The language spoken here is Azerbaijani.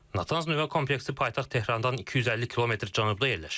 Natanz nüvə kompleksi paytaxt Tehrandan 250 kilometr cənubda yerləşir.